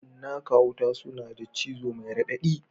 Cinnaka wuta suna da cizo mai raɗaɗi